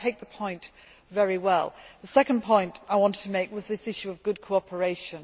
But I take the point very well. The second point I wanted to make was this issue of good cooperation.